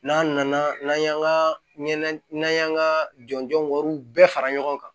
N'an nana n'an y'an ka ɲɛna n'an y'an ka jɔnjɔn wariw bɛɛ fara ɲɔgɔn kan